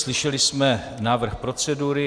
Slyšeli jsme návrh procedury.